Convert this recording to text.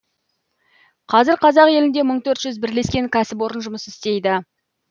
қазір қазақ елінде мың төрт жүз бірлескен кәсіпорын жұмыс істейді